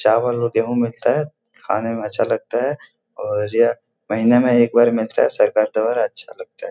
चावल और गेहूँ मिलता है खाने में अच्छा लगता है और यह महीना में एक बार मिलता है सरकार द्वारा अच्छा लगता है |